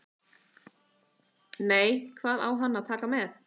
Nei, hvað á hann að taka með?